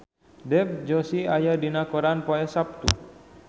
Dev Joshi aya dina koran poe Saptu